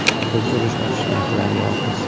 Biz urush ochish niyatidan yiroqmiz.